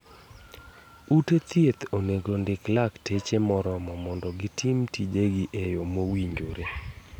Ute thieth onego ondik lakteche morormo mondo gitim tije gi eyo mowinjore.